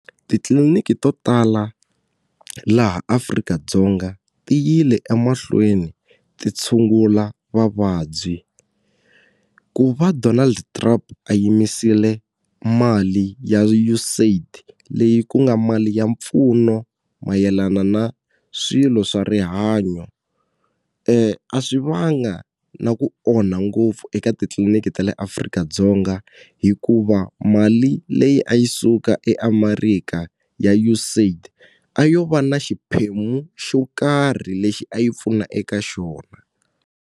Titliliniki to tala laha Afrika-Dzonga ti yile emahlweni ti tshungula vavabyi ku va Donald Trump a yimisile mali ya U_S AID leyi ku nga mali ya mpfuno mayelana na swilo swa rihanyo swi va nga na ku onha ngopfu eka titliliniki ta le Afrika-Dzonga hikuva mali leyi a yi suka eAmerika ya U_S AID a yo va na xiphemu xo karhi lexi a yi pfuna eka xona.